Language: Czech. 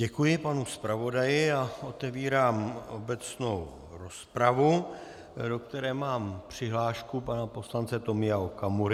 Děkuji panu zpravodaji a otevírám obecnou rozpravu, do které mám přihlášku pana poslance Tomia Okamury.